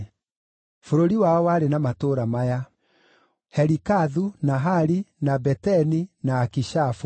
Bũrũri wao warĩ na matũũra maya: Helikathu, na Hali, na Beteni, na Akishafu,